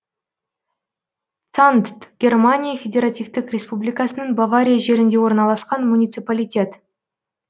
цандт германия федеративтік республикасының бавария жерінде орналасқан муниципалитет